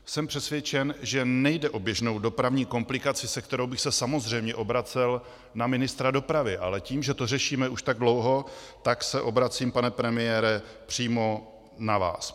Jsem přesvědčen, že nejde o běžnou dopravní komplikaci, se kterou bych se samozřejmě obracel na ministra dopravy, ale tím, že to řešíme už tak dlouho, tak se obracím, pane premiére, přímo na vás.